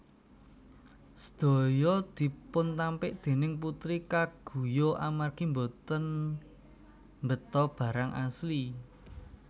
Sedaya dipuntampik déning Putri kaguya amargi boten mbeta barang asli